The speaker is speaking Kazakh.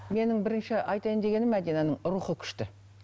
менің бірінші айтайын дегенім мәдинаның рухы күшті